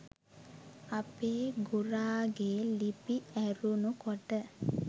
අපේ ගුරාගෙ ලිපි ඇරුණු කොට